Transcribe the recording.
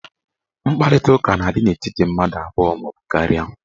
Mkparitaụka na-adị n'etiti mmadụ abụọ maọbụ karịa.